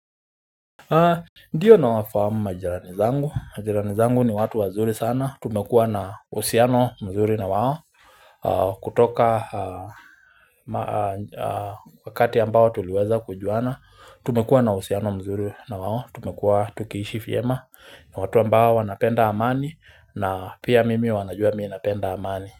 Ndiyo, nawafamu majirani zangu. Majirani zangu ni watu wazuri sana. Tumekuwa na uhusiano mzuri na wao kutoka wakati ambao tuliweza kujuana. Tumekuwa na usiano mzuri na wao. Tumekuwa tukiishi vyema, ni watu ambao wanapenda amani na pia mimi wanajua mimi napenda amani.